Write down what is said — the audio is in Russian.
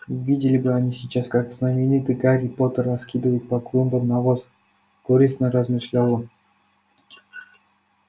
видели бы они сейчас как знаменитый гарри поттер раскидывает по клумбам навоз горестно размышлял он